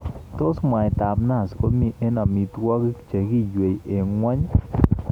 Tos mwaitab nazi komi eng amitwogik che giiwei eng ngwonyi?